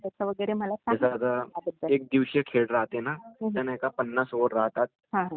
एकदिवशीच खेळ राहाते ना तर नाही का पन्नाास ओव्हर राहतात